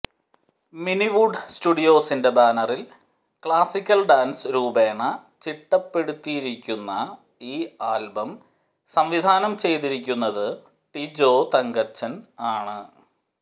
മിനിവൂഡ് സ്റ്റുഡിയോസിന്റെ ബാനറിൽ classical dance രൂപേണ ചിട്ടപ്പെടുത്തിയിരിക്കുന്ന ഈ ആൽബം സംവിധാനം ചെയ്തിരിക്കുന്നത് ടിജോ തങ്കച്ചൻ ആണ്